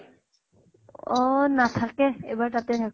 অহ নাথাকে। এইবাৰ তাতে থাক বʼ।